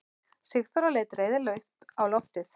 Sigþóra leit reiðilega upp á loftið.